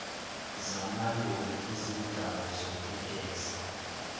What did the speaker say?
zamaloli ezinezindawo zokugeza